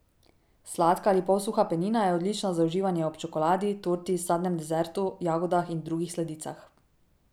Sladka ali polsuha penina je odlična za uživanje ob čokoladi, torti, sadnem desertu, jagodah in drugih sladicah.